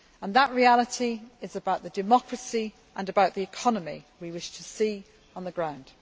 That reality is about the democracy and the economy we wish to see on the ground.